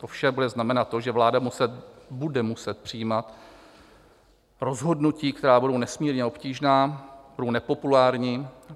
To vše bude znamenat to, že vláda bude muset přijímat rozhodnutí, která budou nesmírně obtížná, budou nepopulární.